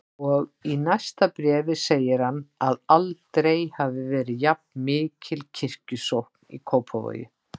Og í næsta bréfi segir hann að aldrei hafi verið jafnmikil kirkjusókn í Kópavogi.